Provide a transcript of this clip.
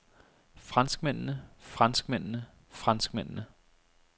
franskmændene franskmændene franskmændene